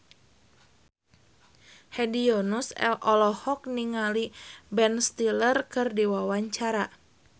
Hedi Yunus olohok ningali Ben Stiller keur diwawancara